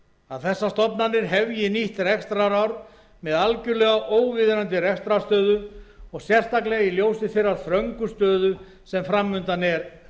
að þessar stofnanir hefji nýtt rekstrarár með algerlega óviðunandi rekstrarstöðu sérstaklega í ljósi þeirrar þröngu stöðu sem fram undan er á